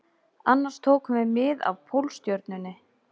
Annars tókum við mið af Pólstjörnunni